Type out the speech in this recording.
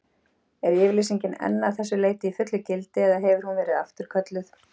Er yfirlýsingin enn að þessu leyti í fullu gildi, eða hefur hún verið afturkölluð?